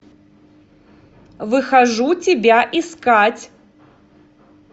выхожу тебя искать